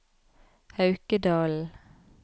Haukedalen